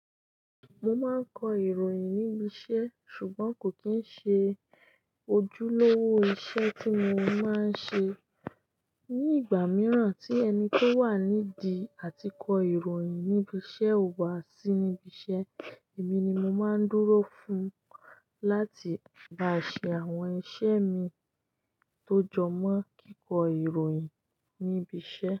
Mo máa ń kọ ìròyìn níbi iṣẹ́ ṣùgbọ́n kò kí ń ṣe ojúlówó iṣẹ́ tí mo máa ń ṣe. Ni ìgbà mìíràn tí ẹni tó wà nídi àti kọ ìròyìn níbi iṣẹ́ ò wá sí íbi iṣẹ́, èmi ni mo máa ń dúró fún un láti bá ṣe àwọn iṣẹ́ mìí tó jọ mọ kíkọ ìròyìn ní ibi iṣẹ́.